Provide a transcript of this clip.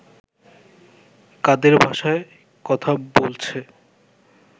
কাদের ভাষায় কথা বলছে